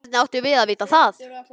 Hvernig áttum við að vita það?